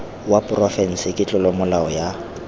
wa porofense ke tlolomolao ya